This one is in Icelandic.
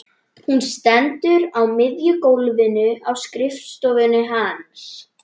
Hún stendur á miðju gólfinu á skrifstofunni hans.